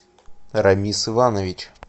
рамис иванович